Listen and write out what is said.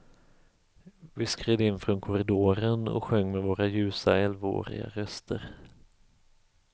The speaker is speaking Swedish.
Vi skred in från korridoren och sjöng med våra ljusa elvaåriga röster.